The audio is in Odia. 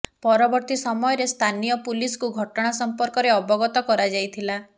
ପରବର୍ତୀ ସମୟରେ ସ୍ଥାନୀୟ ପୁଲିସକୁ ଘଟଣା ସଂପର୍କରେ ଅବଗତ କରାଯାଇଥିଲା